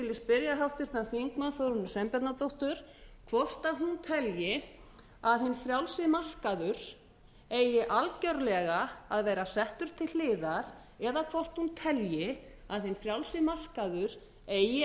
spyrja háttvirtan þingmann þórunni sveinbjarnardóttur hvort hún telji að hinn frjálsi markaður eigi algerlega að vera settur til hliðar eða hvort hún telji að hinn frjálsi markaður eigi